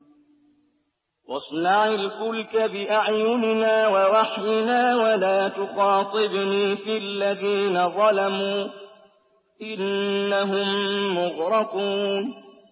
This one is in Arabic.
وَاصْنَعِ الْفُلْكَ بِأَعْيُنِنَا وَوَحْيِنَا وَلَا تُخَاطِبْنِي فِي الَّذِينَ ظَلَمُوا ۚ إِنَّهُم مُّغْرَقُونَ